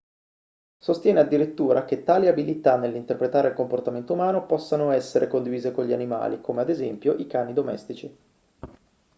sostiene addirittura che tali abilità nell'interpretare il comportamento umano possano essere condivise con gli animali come ad esempio i cani domestici